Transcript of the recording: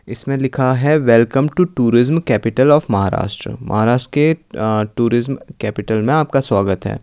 इसमें लिखा है welcome to tourism capital of Maharashtra. Maharashtra के आं टूरिज्म कैपिटल में आपका स्वागत है।